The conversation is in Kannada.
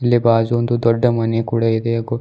ಇಲ್ಲಿ ಬಾಜು ಒಂದು ದೊಡ್ಡ ಮನೆ ಕೂಡ ಇದೆ ಹಾಗು--